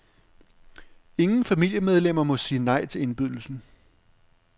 Ingen familiemedlemmer må sige nej til indbydelsen.